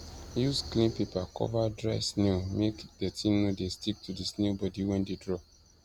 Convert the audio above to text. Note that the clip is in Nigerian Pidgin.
use clean paper cover dried snail make dirty no de stick to the snail body wen de draw